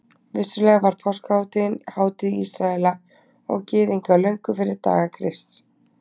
Vissulega var páskahátíðin hátíð Ísraela og Gyðinga löngu fyrir daga Krists.